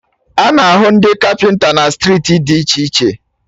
A na-ahụ ndị kapịnta na striiti dị iche iche